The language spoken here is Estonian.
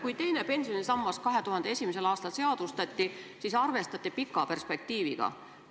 Kui teine pensionisammas 2001. aastal seadustati, siis arvestati pika perspektiiviga.